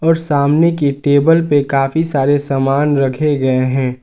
सामने की टेबल पे काफी सारे सामान रखे गए हैं।